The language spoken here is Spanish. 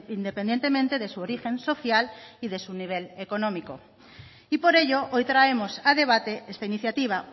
independientemente de su origen social y de su nivel económico y por ello hoy traemos a debate esta iniciativa